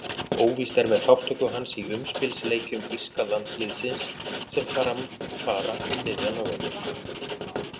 Óvíst er með þátttöku hans í umspilsleikjum írska landsliðsins sem fram fara um miðjan nóvember.